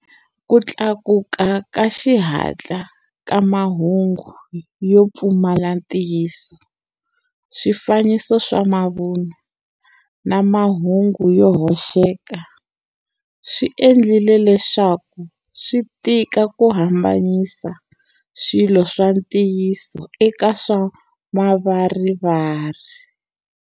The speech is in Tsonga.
Ku tlakuka ka xihatla ka mahungu yo pfumala ntiyiso, swifaniso swa mavunwa, na mahungu yo hoxeka swi endlile leswaku swi tika ku hambanyisa swilo swa ntiyiso eka swa mavarivari.